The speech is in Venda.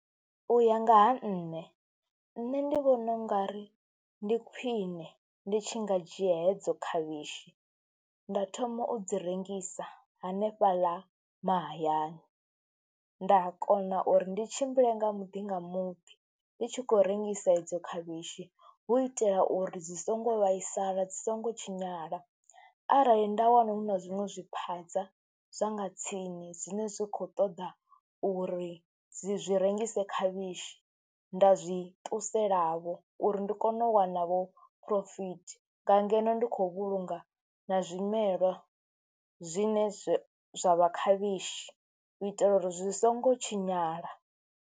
U ya nga ha nṋe, nṋe ndi vhona u nga ri ndi khwiṋe ndi tshi nga dzhia hedzo khavhishi nda thoma u dzi rengisa hanefhaḽa mahayani, nda kona uri ndi tshimbile nga muḓi nga muḓi ndi tshi khou rengisa edzo khavhishi hu itela uri dzi songo vhaisala dzi songo tshinyala. Arali nda wana hu na zwiṅwe zwi phaza zwa nga tsini zwine zwi khou ṱoḓa uri dzi zwi rengise khavhishi, nda zwi ṱuselavho uri ndi kone u wana vho phurofithi, nga ngeno ndi khou vhulunga na zwimelwa zwine zwa zwa vha khavhishi, u itela uri zwi songo tshinyala.